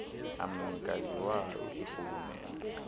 amnikazi wawo ingurhulumente